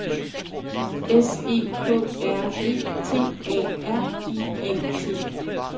S E K R E T A R I A T